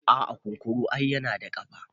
a'a kunkuru yana da kafa